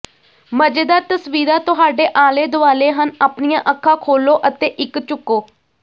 ਮਜ਼ੇਦਾਰ ਤਸਵੀਰਾਂ ਤੁਹਾਡੇ ਆਲੇ ਦੁਆਲੇ ਹਨ ਆਪਣੀਆਂ ਅੱਖਾਂ ਖੋਲੋ ਅਤੇ ਇਕ ਝੁਕੋ